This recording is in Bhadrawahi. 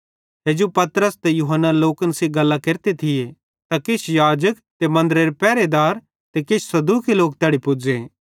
हेजू पतरस ते यूहन्ना लोकन सेइं गल्लां केरते थिये त किछ याजक ते मन्दरेरे पेरहेदार ते किछ सदूकी लोक तैड़ी पुज़े